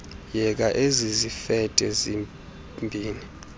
yeka ezizifede zibini